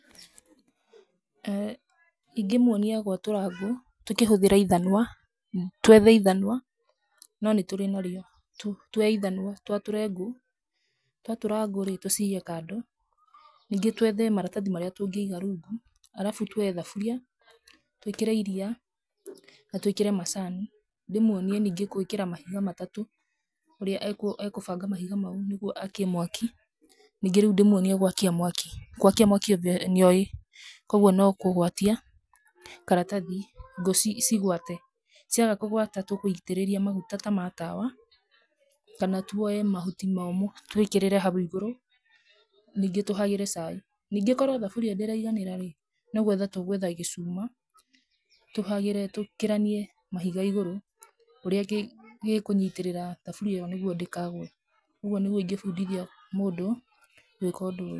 Ĩĩ ingĩmwonia gwatũra ngũ tũkĩhũthĩra ithanwa, twethe ithanwa na nĩ tũkĩrĩ narĩo, twoe ithanwa twatũre ngũ, twatũra ngũ rĩ tũcige kando twethe maratathi marĩa tũngĩiga rungu, arabu twoe thaburia, twĩkĩre iria na twĩkĩre macini, ndĩmwonie ningĩ, gwĩkĩra mahiga matatũ, ũrĩa e kũbanga mahiga macio niguo akie mwaki, ningĩ rĩu ndĩmwonie gwakia mwaki, gwakia mwaki nĩoĩ, kwoguo no kũgwatia karatathi ngũ ci gwate, ciaga kũgwata tũgũitĩrĩria maguta ta matawa kana twoe mahuti momũ twĩkĩrĩre hau igũrũ ningĩ tũhagĩre chai, ningĩ korwo thuburia ndĩraiganĩra rĩ, no gwetha tũgwetha gĩcuma tũhagĩre, tũkĩranie mahiga igũrũ, ũrĩa gĩkũnyitĩrĩra thaburia ĩyo nĩguo ndĩkagwe, ũguo nĩguo ingĩ bundithia mũndũ gwĩka ũndũ ũyũ.